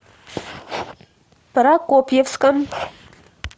прокопьевском